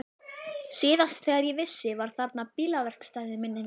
Síðast þegar ég vissi var þarna bílaverkstæði, minnir mig.